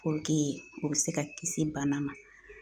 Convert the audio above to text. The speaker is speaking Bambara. o bɛ se ka kisi bana ma